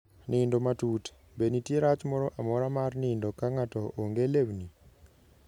Nindo matut: Be nitie rach moro amora mar nindo ka ng'ato onge lewni?